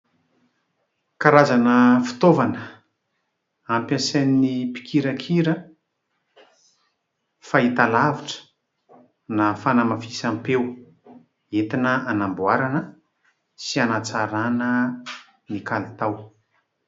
Karazana fitaovana ampiasain'ny mpikirakira fahitalavitra na fanamafisam-peo, entina hanamboarana sy hanatsarana ny kalitao.